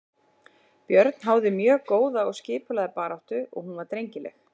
Björn háði mjög góða og skipulagða baráttu og hún var drengileg.